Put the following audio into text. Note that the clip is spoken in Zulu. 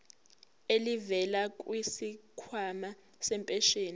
elivela kwisikhwama sempesheni